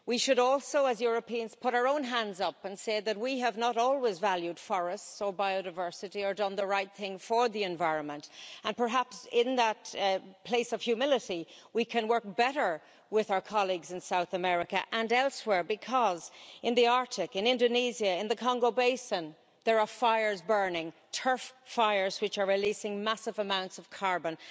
We should also as Europeans put our own hands up and say that we have not always valued forests or biodiversity or done the right thing for the environment, and perhaps in that place of humility we can work better with our colleagues in South America and elsewhere, because in the Arctic, in Indonesia, in the Congo Basin, there are fires burning, turf fires which are releasing massive amounts of carbon.